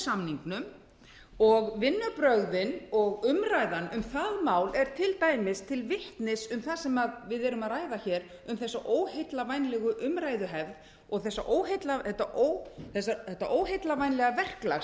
samningnum og vinnubrögðin og vinnubrögðin um það mál eru til dæmis til vitnis um það sem við erum að ræða um þessa óheillavænlegu umræðuhefð og þetta óheillavænlega verklag